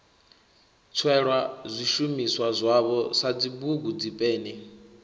tswelwa zwishumiswa zwavho sadzibugu dzipeni